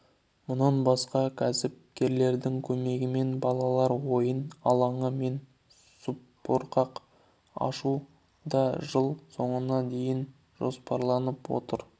мұнан басқа кәсіпкерлердің көмегімен балалар ойын алаңы мен субұрқақ ашу да жыл соңына дейін жоспарланып отыр